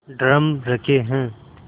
drum रखे हैं